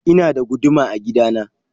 Ina da guduma a gida na.